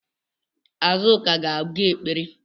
Azuka ga-aga ekpere